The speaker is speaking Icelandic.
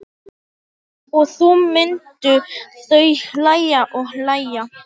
Og þá myndu þau hlæja og hlæja.